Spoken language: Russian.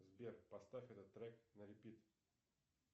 сбер поставь этот трек на репит